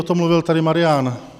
O tom mluvil tady Marian.